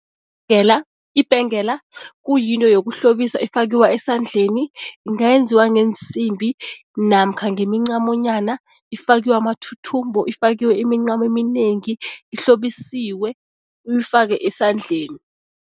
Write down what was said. Ibhengela kuyinto yokuhlobisa efakiwa esandleni. Ingayenziwa ngeensimbi namkha ngemincamonyana, ifakiwe amathuthumbo, ifakiwe imincamo eminengi, ihlobisiwe, uyifake esandleni.